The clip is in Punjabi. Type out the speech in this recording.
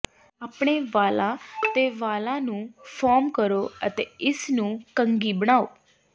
ਆਪਣੇ ਵਾਲਾਂ ਤੇ ਵਾਲਾਂ ਨੂੰ ਫੋਮ ਕਰੋ ਅਤੇ ਇਸ ਨੂੰ ਕੰਘੀ ਬਣਾਓ